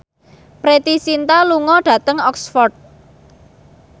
Preity Zinta lunga dhateng Oxford